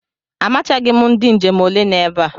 Amachaghị m ndị njem ole no ebe a.